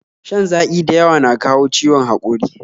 Shan zaƙi da yawa na kawo ciwon haƙori